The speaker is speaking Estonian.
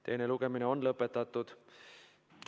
Teine lugemine on lõpetatud.